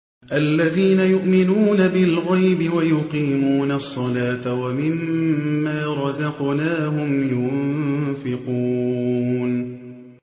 الَّذِينَ يُؤْمِنُونَ بِالْغَيْبِ وَيُقِيمُونَ الصَّلَاةَ وَمِمَّا رَزَقْنَاهُمْ يُنفِقُونَ